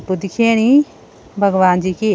वो दिख्येणी भगवान् जी की --